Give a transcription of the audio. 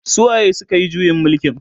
su waye sukayi juyin mulkin?